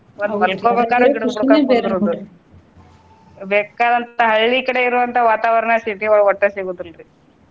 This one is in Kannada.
ಬೇಕಾದಂತಾ ಹಳ್ಳಿ ಕಡೆ ಇರುವಂತ ವಾತಾವರಣ city ಯೊಳಗ ಒಟ್ಟ ಸಿಗುದಿಲ್ರಿ.